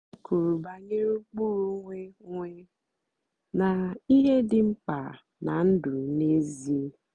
ha kwùrù bànyèrè ụ́kpụ́rụ́ onwé onwé na ihe dị́ mkpá ná ndụ́ n'ézìè.